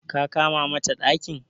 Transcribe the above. ka kama mata dakin?